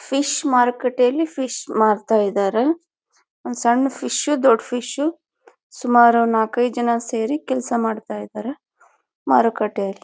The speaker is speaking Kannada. ಫಿಶ್ ಮಾರ್ಕೆಟ್ ಲಿ ಫಿಶ್ ಮಾರ್ತಾ ಇದಾರೆ. ಸಣ್ಣ ಫಿಶ್ ದೊಡ್ಡ ಫಿಶ್ ಸುಮಾರು ನಾಕೈದು ಜನ ಸೇರಿ ಕೆಲಸ ಮಾಡ್ತಾ ಇದ್ದಾರೆ ಮಾರುಕಟ್ಟೆಯಲ್ಲಿ.